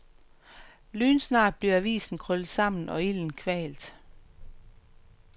Lynsnart bliver avisen krøllet sammen, og ilden kvalt.